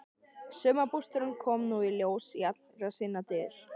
Sumarbústaðurinn kom nú í ljós í allri sinni dýrð.